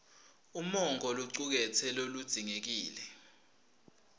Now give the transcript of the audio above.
umongo locuketse lokudzingekile